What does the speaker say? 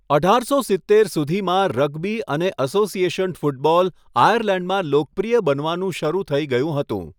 અઢારસો સિત્તેર સુધીમાં, રગ્બી અને એસોસિએશન ફૂટબોલ આયર્લેન્ડમાં લોકપ્રિય બનવાનું શરૂ થઇ ગયું હતું.